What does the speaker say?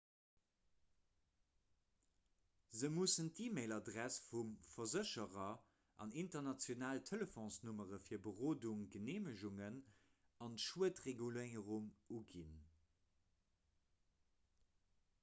se mussen d'e‑mail-adress vum versécherer an international telefonsnummere fir berodung/geneemegungen an d'schuedreguléierung uginn